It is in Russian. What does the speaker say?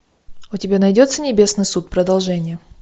у тебя найдется небесный суд продолжение